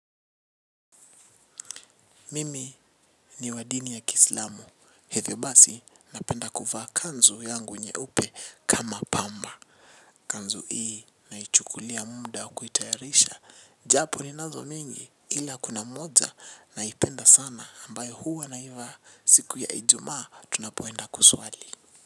Mimi ni wadini ya kiislamu. Hivyo basi napenda kuvaa kanzu yangu nyeupe kama pamba. Kanzu hii na ichukulia muda kuitayarisha. Japo ni nazo mingi ila kuna moja na ipenda sana ambayo huwa na ivaa siku ya ijumaa tunapoenda kuswali.